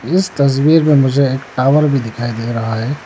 इस तस्वीर में मुझे टॉवर भी दिखाई दे रहा है।